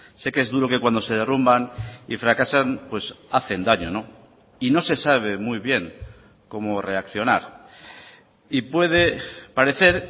sé que es duro que cuando se derrumban y fracasan hacen daño y no se sabe muy bien cómo reaccionar y puede parecer